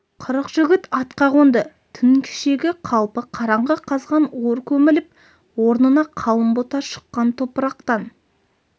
қырық жігіт атқа қонды түн кешегі қалпы қараңғы қазған ор көміліп орнына қалың бұта шыққан топырақтан